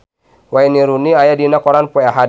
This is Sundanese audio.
Wayne Rooney aya dina koran poe Ahad